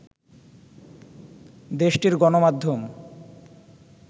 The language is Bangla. দেশটির গণমাধ্যম